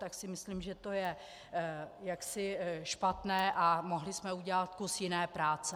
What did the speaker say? Tak si myslím, že to je jaksi špatné, a mohli jsme udělat kus jiné práce.